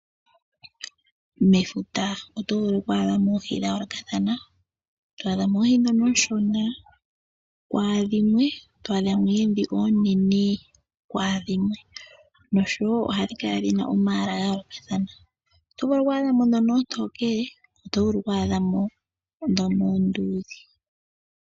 Mefuta oto vulu kwaadhamo oohi dha yoolokathana to vulu okwaadhamo oohi dhono ooshona kwaadhimwe twaadhamo dhoka dhili oonene kwaadhimwe noshowo ohadhi kala dhina omalwaala ga yoolokathana .Oto vulu kwaadhamo dhono oontokele oto vulu kwaadhamo dhono oonduudhe.